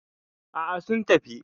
Aa, sun tafi